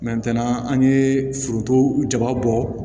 an ye foronto jaba bɔ